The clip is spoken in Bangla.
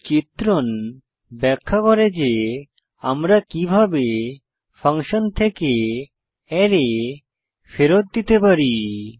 এই চিত্রণ ব্যাখ্যা করে যে আমরা কিভাবে ফাংশন থেকে অ্যারে ফেরত দিতে পারি